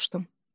Soruşdum.